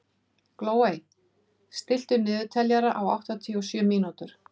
Glóey, stilltu niðurteljara á áttatíu og sjö mínútur.